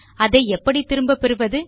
அதை எப்படி திரும்ப பெறுவது